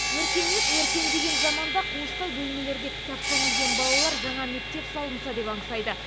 өркениет өркендеген заманда қуыстай бөлмелерде кітапқа үңілген балалар жаңа мектеп салынса деп аңсайды